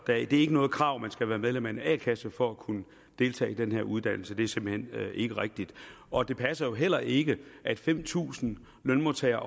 ikke noget krav at man skal være medlem af en a kasse for at kunne deltage i den her uddannelse det er simpelt hen ikke rigtigt og det passer jo heller ikke at fem tusind lønmodtagere